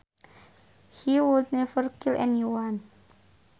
He would never kill anyone